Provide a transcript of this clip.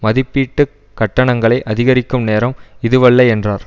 மதிப்பீட்டு கட்டணங்களை அதிகரிக்கும் நேரம் இதுவல்ல என்றார்